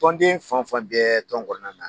Tɔnden fan o fan bɛ tɔn kɔnɔna na.